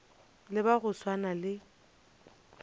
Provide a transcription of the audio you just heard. le ba go swana le